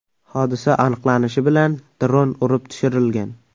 Hodisa aniqlanishi bilan dron urib tushirilgan.